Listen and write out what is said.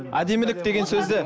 әдемілік деген сөзді